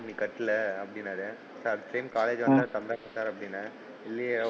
நீ கட்டலை அப்படின்னாரு sir next time college வந்தா கட்டுறன் அப்படின்னன், இல்லையா,